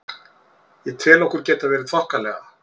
Ég tel okkur geta verið þokkalega.